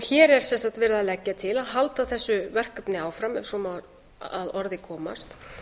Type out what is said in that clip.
hér er sem sagt verið að leggja til að halda þessu verkefni áfram ef svo má að orði komast